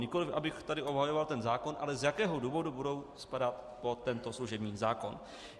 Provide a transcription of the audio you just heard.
Nikoliv abych tady obhajoval ten zákon, ale z jakého důvodu budou spadat pod tento služební zákon.